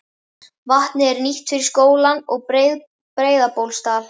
Vatnið er nýtt fyrir skólann og Breiðabólsstað.